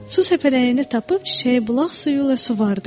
Su səpələyəni tapıb çiçəyi bulaq suyu ilə suvardı.